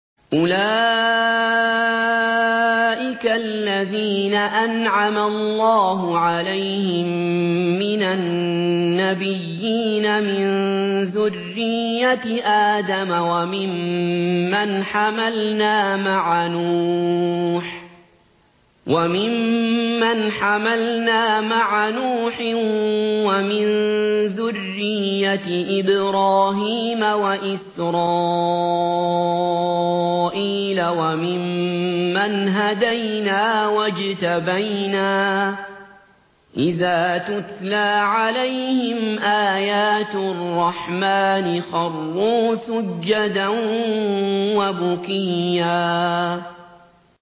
أُولَٰئِكَ الَّذِينَ أَنْعَمَ اللَّهُ عَلَيْهِم مِّنَ النَّبِيِّينَ مِن ذُرِّيَّةِ آدَمَ وَمِمَّنْ حَمَلْنَا مَعَ نُوحٍ وَمِن ذُرِّيَّةِ إِبْرَاهِيمَ وَإِسْرَائِيلَ وَمِمَّنْ هَدَيْنَا وَاجْتَبَيْنَا ۚ إِذَا تُتْلَىٰ عَلَيْهِمْ آيَاتُ الرَّحْمَٰنِ خَرُّوا سُجَّدًا وَبُكِيًّا ۩